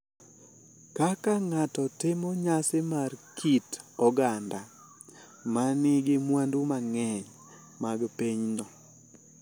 Kaka ng’ato timo nyasi mar kit oganda ma nigi mwandu mang’eny mag pinyno.